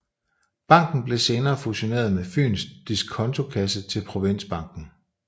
Banken blev senere fusioneret med Fyens Disconto Kasse til Provinsbanken